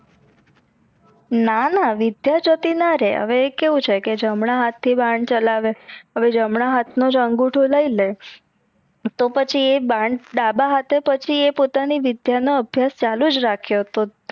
ના ના વિધ્ય જતી નહ રે એ કેવું છે કે જમણા હાત થી બાણ ચલાવે હવે જમણા હાતનોજ અંગુઠો લઈ લી તો પછી એ બાણ ડાભા હાથે પછી એ પોતાની વિધ્ય નો અભિયાસ ચાલુજ રાખીયો તો.